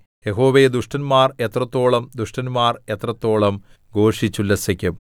യഹോവേ ദുഷ്ടന്മാർ എത്രത്തോളം ദുഷ്ടന്മാർ എത്രത്തോളം ഘോഷിച്ചുല്ലസിക്കും